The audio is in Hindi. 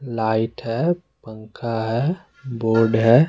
लाइट है पंखा है बोर्ड है।